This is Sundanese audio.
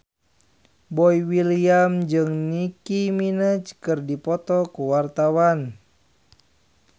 Boy William jeung Nicky Minaj keur dipoto ku wartawan